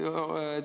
Jaa.